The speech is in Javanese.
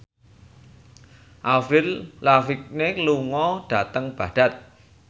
Avril Lavigne lunga dhateng Baghdad